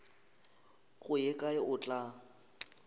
go ye kae o tla